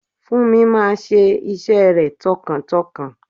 Funmi máa ṣe iṣẹ́ rẹ̀ tọkàntọkàn.